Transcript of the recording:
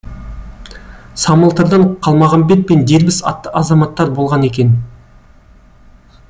самылтырдан қалмағамбет пен дербіс атты азаматтар болған екен